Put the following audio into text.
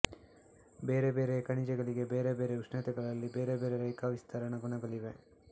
ಬೇರೆ ಬೇರೆಯ ಖನಿಜಗಳಿಗೆ ಬೇರೆ ಬೇರೆ ಉಷ್ಣತೆಗಳಲ್ಲಿ ಬೇರೆ ಬೇರೆ ರೇಖಾವಿಸ್ತರಣ ಗುಣಕಗಳಿವೆ